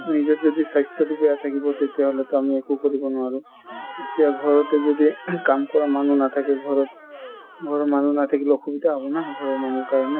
নিজৰ যদি স্বাস্থ্যটো বেয়া থকিব তেতিয়া হ'লেতো আমি একো কৰিব নোৱাৰো | এতিয়া ঘৰতে যদি ing কাম কৰা মানুহ নাথাকে ঘৰত , ঘৰৰ মানুহ নাথাকিলে অসুবিধা হ'ব না ঘৰৰ মানুহৰ কাৰণে